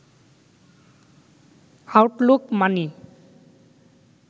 Outlook মানি